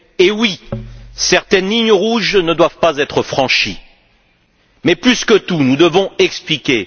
Et oui, certaines lignes rouges ne doivent pas être franchies. Mais, plus que tout, nous devons expliquer.